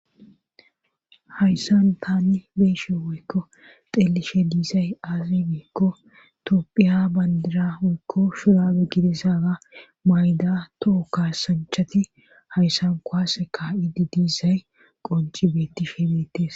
hayssan tani beyshin woykko xelishin diizay aazi biikko topphiya bandira hoykko shurabe gidisaaga mayda toho kaasanchati hayssan koase ka7idi diisay qonci beettes